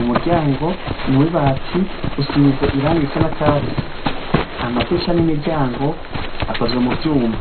Umuryango nuw'ibati risize irangi risa nakatsi. Amadirisha ni miryango akoze muvyuma.